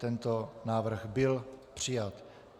Tento návrh byl přijat.